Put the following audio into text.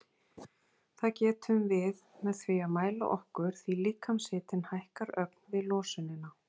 Það getum við með því að mæla okkur því líkamshitinn hækkar ögn við losunina.